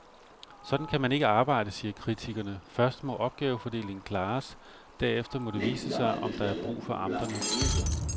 Sådan kan man ikke arbejde, siger kritikerne, først må opgavefordelingen klares, derefter må det vise sig, om der er brug for amterne.